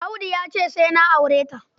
Audu ya ce na aure ta.